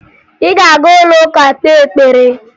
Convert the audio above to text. Ị ga-aga ụlọụka kpee ekpere!